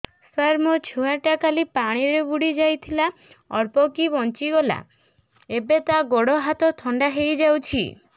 ସାର ମୋ ଛୁଆ ଟା କାଲି ପାଣି ରେ ବୁଡି ଯାଇଥିଲା ଅଳ୍ପ କି ବଞ୍ଚି ଗଲା ଏବେ ତା ଗୋଡ଼ ହାତ ଥଣ୍ଡା ହେଇଯାଉଛି